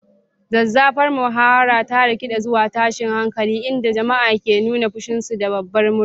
Zazzafar muhawarar ta rikide zuwa tashin hankali, inda jama'a ke nuna fushinsu da babbar murya.